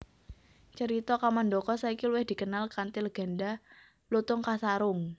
Cerita Kamandaka saiki luwih dikenal kanthi legènda Lutung Kasarung